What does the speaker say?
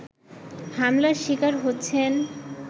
হামলার শিকার হচ্ছেন